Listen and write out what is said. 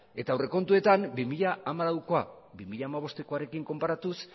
eta aurrekontuetan bi mila hamalauko bi mila hamabostekoarekin konparatuz